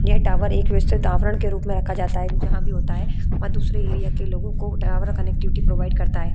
यह टावर एक व्यवस्थित आवरण के रूप में रखा जाता है जहां भी होता है वहां दूसरे एरिया के लोगों को टावर कनेक्टिविटी प्रोवाइड करता है।